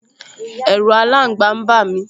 Ẹ̀ru aláǹgba n bà mí